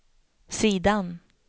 sidan